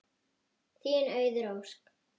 Þín Auður Ósk.